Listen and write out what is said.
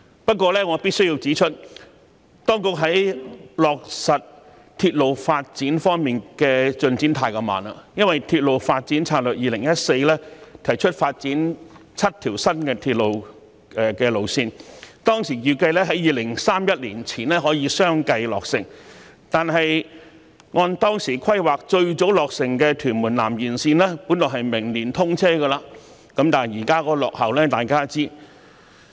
不過，我必須指出，當局在落實鐵路發展方面的進展太慢，因為《鐵路發展策略2014》提出發展7條新鐵路路線，當時預計在2031年前可以相繼落成；可是，按當時規劃最早落成的屯門南延綫本來在明年通車，但大家也知道現在已經落後。